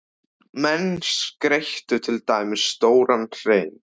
Menn skreyttu til dæmis stóran hrein.